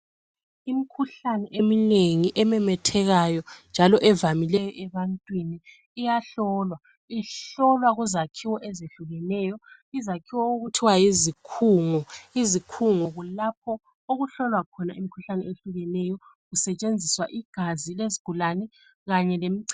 Imikhuhlane eminengi ememethekeyo, njalo evamileyo ebantwini iyahlolwa. Ihlolwa kuzakhiwo ezehlukeneyo, izakhiwo okuthiwa yizikhungo. Izikhungo kulapho okuhlolwa khona imikhuhlane eyehlukeneyo kusetshenziswa igazi lezigulane kanye lemichemo.